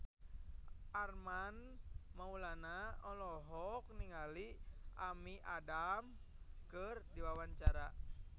Armand Maulana olohok ningali Amy Adams keur diwawancara